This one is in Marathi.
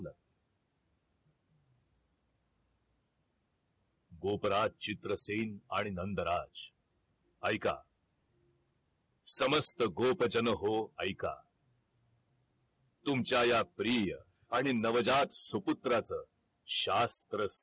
गोपराज, चित्रसेन आणि नंदराज ऐका समस्त गोप जन हो ऐका तुमच्या या प्रिय आणि नवजात सुपुत्राच शास्त्र